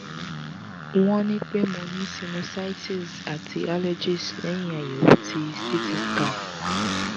wọ́n ni pe mo ni sinusitis ati allergies lẹ́yìn ayẹ̀wò tí ct scan